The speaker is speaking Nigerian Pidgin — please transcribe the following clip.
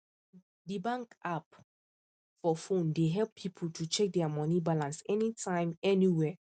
the bank app for phone dey help people to check their money balance anytime anywhere